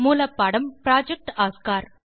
மூலப்பாடம் project Oscar